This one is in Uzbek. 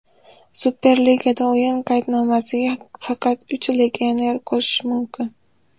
Super ligada o‘yin qaydnomasiga faqat uch legionerni qo‘shish mumkin.